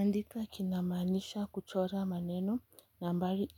Andika kinamaanisha kuchora maneno, nambari